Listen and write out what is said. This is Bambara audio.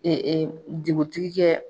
dugutigi kɛ